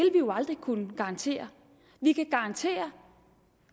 aldrig kunne garantere vi kan garantere